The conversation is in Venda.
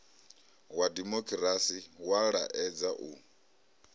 wa dimokirasi wa laedza u